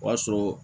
O y'a sɔrɔ